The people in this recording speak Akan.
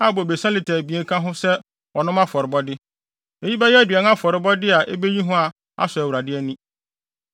a bobesa lita abien ka ho sɛ ɔnom afɔrebɔde. Eyi bɛyɛ aduan afɔrebɔ a ebeyi hua asɔ Awurade ani.